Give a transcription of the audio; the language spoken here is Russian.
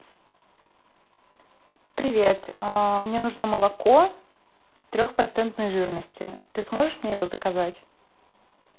привет мне нужно молоко трехпроцентной жирности ты сможешь мне его заказать